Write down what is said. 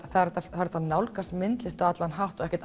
það er hægt að hægt að nálgast myndlist á allan hátt og